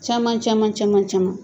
Caman caman caman caman